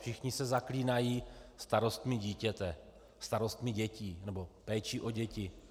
Všichni se zaklínají starostmi dítěte, starostmi dětí, nebo péči o děti.